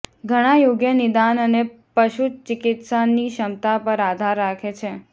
ઘણાં યોગ્ય નિદાન અને પશુચિકિત્સા ની ક્ષમતા પર આધાર રાખે છે